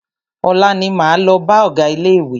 Ọ̀la ní máa lọ bá ọgá ilé ìwé.